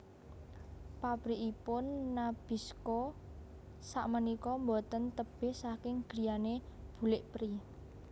Pabrikipun Nabisco sakmenika mboten tebeh saking griyane bulik Pri